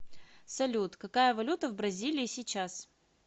салют какая валюта в бразилии сейчас